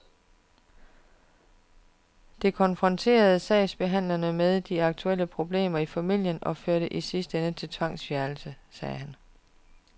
Det konfronterer sagsbehandlerne med de aktuelle problemer i familien og fører i sidste ende til tvangsfjernelse, siger han.